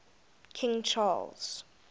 king charles